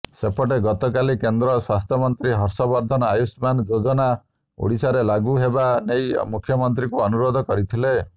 ସେପଟେ ଗତକାଲି କେନ୍ଦ୍ର ସ୍ୱାସ୍ଥ୍ୟମନ୍ତ୍ରୀ ହର୍ଷବର୍ଦ୍ଧନ ଆୟୁଷ୍ମାନ ଯୋଜନା ଓଡ଼ିଶାରେ ଲାଗୁ ହେବା ନେଇ ମୁଖ୍ୟମନ୍ତ୍ରୀଙ୍କୁ ଅନୁରୋଧ କରିଥିଲେ